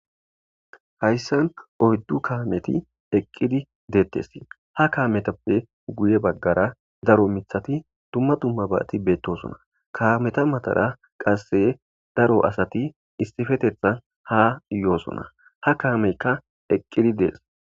Hayssan oyddu kaameti eqqidi deetes. Ha kaametappe guye bagara daro miththati dumma dummabaati beetoosona. Kaameta matara qasse daro asati issippetethan ha yoosona. Ha kaamekka eqqidi dees.